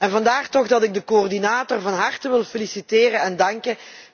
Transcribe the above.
En vandaar dat ik de coördinator van harte wil feliciteren en danken.